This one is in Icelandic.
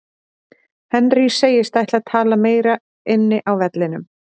Henry segist ætla að tala meira inni á vellinum.